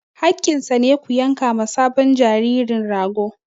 Haƙƙinsa ne, ku yanka ma sabon jaririn rago!